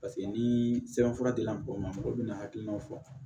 Paseke ni sɛbɛnfura dila mɔgɔw ma mɔgɔ bina hakilinaw fɔ